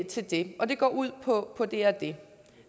til det og det går ud på på det og det